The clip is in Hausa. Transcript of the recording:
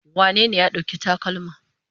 Wanene ya ɗauki takalma?